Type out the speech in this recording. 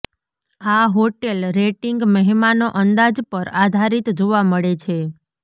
આ hotel rating મહેમાનો અંદાજ પર આધારિત જોવા મળે છે